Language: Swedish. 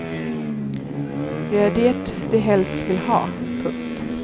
Det är det de helst vill ha. punkt